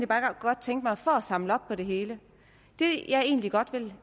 bare godt tænke mig at få samlet lidt op på det hele det jeg egentlig godt vil